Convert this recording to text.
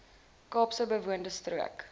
kaapse bewoonde strook